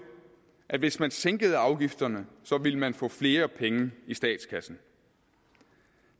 at hvis man sænkede afgifterne ville man få flere penge i statskassen